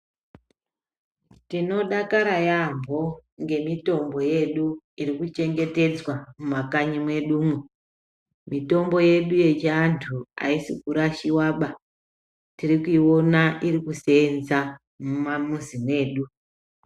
Tinodakara yambo ngemitombo yedu irikuchengetedzwa mumakanyi mwedumwo mitombo yedu yechiantu aisikurashiwaba tirikuiona ikusenza mumamuzi mwedu.